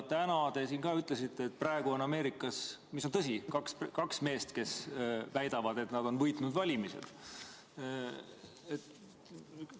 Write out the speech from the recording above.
Täna te siin ka ütlesite, et praegu on – mis on tõsi – Ameerikas kaks meest, kes väidavad, et nad on valimised võitnud.